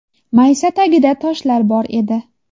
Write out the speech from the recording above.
Maysa tagida toshlar bor edi.